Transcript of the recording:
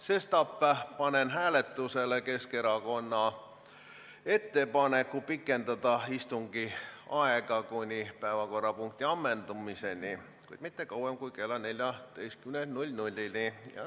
Sestap panen hääletusele Keskerakonna ettepaneku pikendada istungi aega kuni päevakorrapunkti ammendumiseni, kuid mitte kauem kui kella 14-ni.